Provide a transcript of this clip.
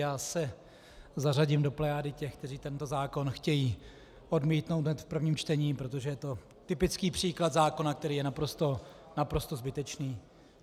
Já se zařadím do plejády těch, kteří tento zákon chtějí odmítnou hned v prvním čtení, protože je to typický příklad zákona, který je naprosto zbytečný.